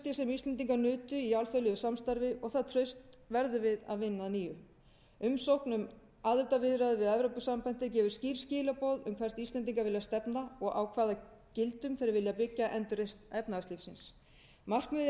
íslendingar nutu í alþjóðlegu samstarfi og það traust verðum við að vinna að nýju umsókn um aðildarviðræður við evrópusambandið gefur skýr skilaboð um hvort íslendingar vilja stefna og á hvaða gildum þeir vilja byggja endurreisn efnahagslífsins markmiðið